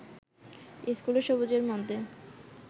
ইস্কুলে সবুজের মধ্যে